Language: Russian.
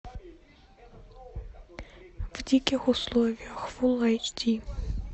в диких условиях фул эйч ди